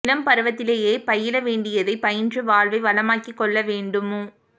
இளம்பருவத்திலேயே பயில வேண்டியதைப் பயின்று வாழ்வை வளமாக்கிக் கொள்ள வேண்மு